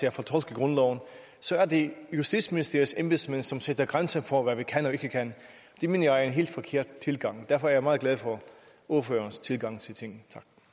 at fortolke grundloven så er det justitsministeriets embedsmænd som sætter grænser for hvad vi kan og ikke kan det mener jeg er en helt forkert tilgang og derfor er jeg meget glad for ordførerens tilgang til tingene